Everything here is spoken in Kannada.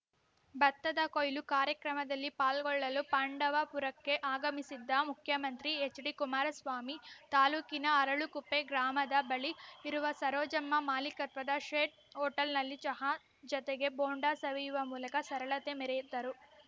ಭತ್ತದ ಕೊಯ್ಲು ಕಾರ್ಯಕ್ರಮದಲ್ಲಿ ಪಾಲ್ಗೊಳ್ಳಲು ಪಾಂಡವಪುರಕ್ಕೆ ಆಗಮಿಸಿದ್ದ ಮುಖ್ಯಮಂತ್ರಿ ಎಚ್‌ಡಿ ಕುಮಾರಸ್ವಾಮಿ ತಾಲೂಕಿನ ಅರಳಕುಪ್ಪೆ ಗ್ರಾಮದ ಬಳಿ ಇರುವ ಸರೋಜಮ್ಮ ಮಾಲೀಕತ್ವದ ಶೆಡ್‌ ಹೋಟೆಲ್‌ನಲ್ಲಿ ಚಹಾ ಜತೆಗೆ ಬೋಂಡ ಸವಿಯುವ ಮೂಲಕ ಸರಳತೆ ಮೆರೆಯುತ್ತರು